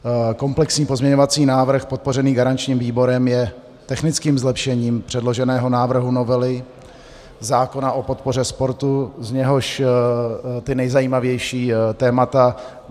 Komplexní pozměňovací návrh podpořený garančním výborem je technickým zlepšením předloženého návrhu novely zákona o podpoře sportu, z něhož ta nejzajímavější témata: